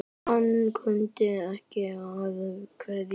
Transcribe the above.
Hann kunni að kveðja.